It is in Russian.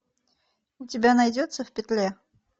у тебя найдется в петле